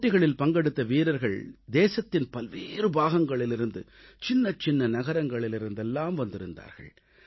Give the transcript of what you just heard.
போட்டிகளில் பங்கெடுத்த வீரர்கள் தேசத்தின் பல்வேறு பாகங்களிலிருந்து சின்னச்சின்ன நகரங்களிலிருந்தெல்லாம் வந்திருந்தார்கள்